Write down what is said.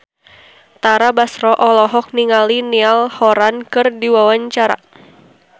Tara Basro olohok ningali Niall Horran keur diwawancara